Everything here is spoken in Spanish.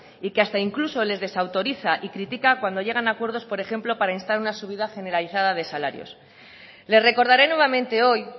y que hasta incluso les desautoriza y critica cuando llegan a acuerdos por ejemplo para instar una subida generalizada de salarios le recordaré nuevamente hoy